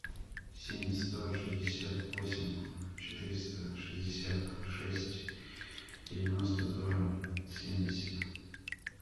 семь сто шестьдесят восемь четыреста шестьдесят шесть девяносто два семьдесят